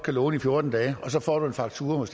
kan låne i fjorten dage og så får du en faktura